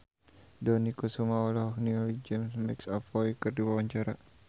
Dony Kesuma olohok ningali James McAvoy keur diwawancara